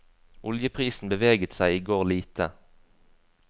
Oljeprisen beveget seg i går lite.